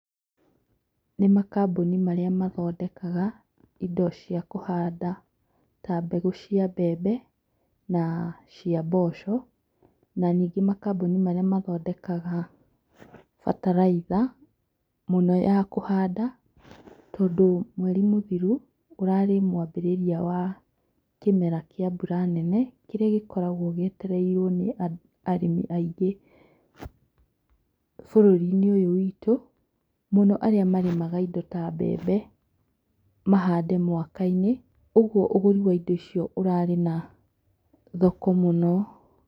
Nĩ makambũni marĩa mathondekaga ta mbegũ cia mbembe na cia mboco na ningĩ makambuni marĩa mathondekaga bataraitha mũno ya kũhanda tondũ mweri mũthiru ũrarĩ mwambĩrĩria wa mbura nene kĩrĩa gĩkoragwo gĩetereirwo nĩ arĩmi aingĩ bũrũri-inĩ ũyũ witũ mũno arĩa maremaga indo ta mbembe mahande mwaka-inĩ ũguo ũgũri wa indo ũcio ũrarĩ na thoko mũno.